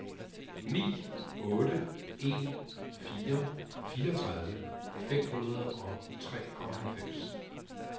ni otte en fire fireogtredive fem hundrede og treoghalvfems